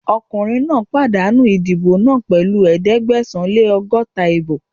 Ọkùnrin náà pàdánù ìdìbò náà pẹ̀lú ẹ̀ẹ́dẹ́gbẹ̀sán-lé-lọ́gọ́ta ìbò